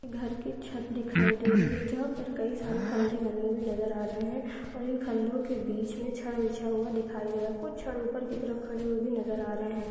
घर की छत दिखाई दे रही है जहा पर कै सारे खंबे बने हुए नजर आ रहे है और इन खम्भो के बीच बिछाई हुई दिखाई दे रही है कुछ नजर आ रहे है।